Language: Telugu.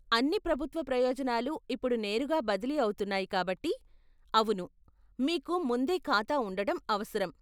అన్ని ప్రభుత్వ ప్రయోజనాలు ఇప్పుడు నేరుగా బదిలీ అవుతున్నాయి కాబట్టి, అవును మీకు ముందే ఖాతా ఉండటం అవసరం.